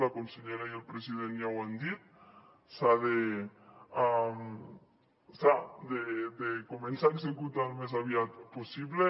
la consellera i el president ja ho han dit s’han de començar a executar el més aviat possible